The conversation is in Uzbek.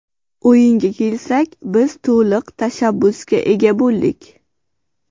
O‘yinga kelsak, biz to‘liq tashabbusga ega bo‘ldik.